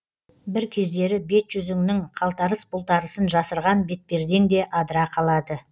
бір кездері бет жүзіңнің қалтарыс бұлтарысын жасырған бетпердең де адыра қалады